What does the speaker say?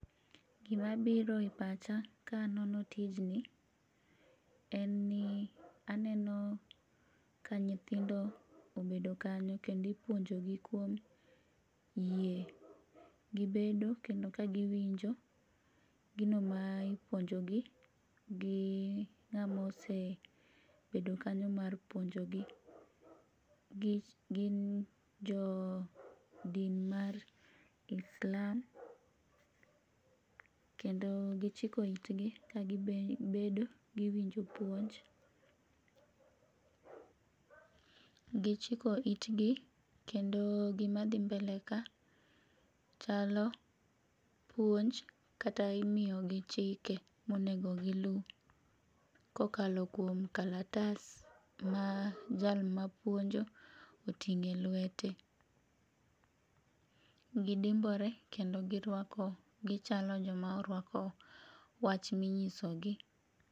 Gimabiro e pacha ka anono tijni, en ni aneno ka nyithindo obedo kanyo kendo ipuonjogi kuom yie, gibedo kendo ka giwinjo gino ma ipuonjogi gi ng'ama osebedo kanyo mar puonjogi, gin jo din mar islam kendo gichiko itgi kagibedo giwinjo puonj, gichiko itgi kendo gimadhi mbele ka chalo puonj kata imiyogi chike monego gilu kokalo kuom kalatas ma jal ma puonjo oting'o e lwete. Gidimbore kendo girwako gichalo joma orwako wach minyisogi